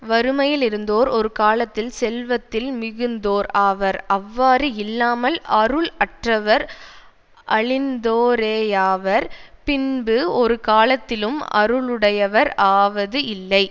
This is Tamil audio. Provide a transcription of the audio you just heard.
வறுமையிலிருந்தோர் ஒரு காலத்தில் செல்வத்தில் மிகுந்தோர் ஆவர் அவ்வாறு இல்லாமல் அருள் அற்றவர் அழிந்தோரேயாவர் பின்பு ஒரு காலத்திலும் அருளுடையவர் ஆவது இல்லை